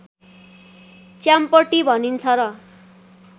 च्याम्पटी भनिन्छ र